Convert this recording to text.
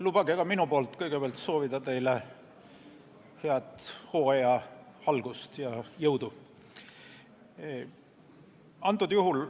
Lubage ka minul kõigepealt soovida teile head hooaja algust ja jõudu.